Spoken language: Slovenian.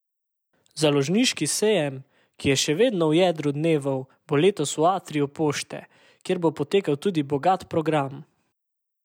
Založniški sejem, ki je še vedno v jedru dnevov, bo letos v Atriju Pošte, kjer bo potekal tudi bogat program.